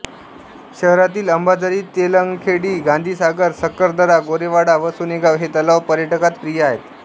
शहरातील अंबाझरी तेलंगखेडी गांधीसागर सक्करदरा गोरेवाडा व सोनेगाव हे तलाव पर्यटकात प्रिय आहेत